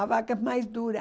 A vaca é mais dura.